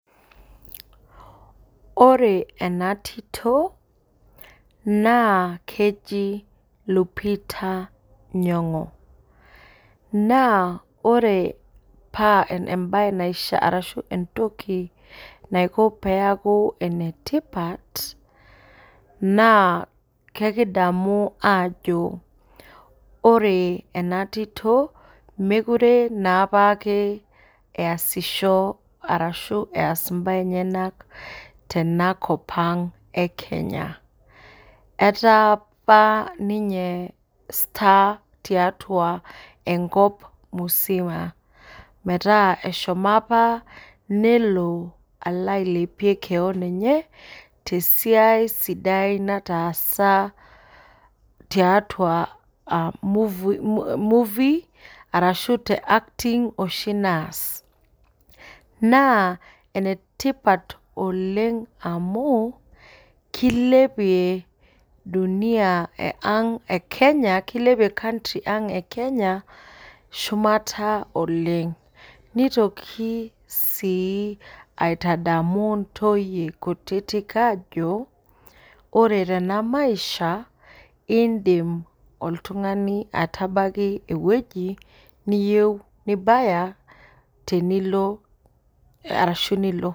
Ore enatito na keji lupita nyongo na ore paa entoki naiko peaku enetipat na ekidamu ajo ore enatito mekute apa eas mbaa enyenak tenakop aang ee kenya ataa apa ninye star tiatua enkop musima metaa eshomo apa nelo ailepie keon emye tesiaia sidai nataasa tiatua movie arashu te acting oshi naas na enetipat oleng' amu kilepie dunia elaang' e e kenya shumata oleng' nitokibsi aitadamu ntoyie kutitik ajo ore tenamaisha indim oltung'ani atabaki ewoi niyieu tenilo.